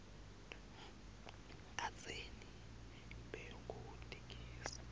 kadzeni bekute gesi